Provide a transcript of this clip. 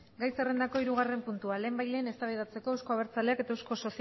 gai zerrendako hirugarren puntua lehenbailehen eztabaidatzeko euzko abertzalek eta